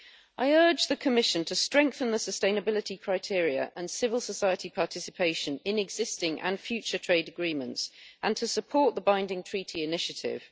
I urge the Commission to strengthen the sustainability criteria and civil society participation in existing and future trade agreements and to support the Binding Treaty initiative.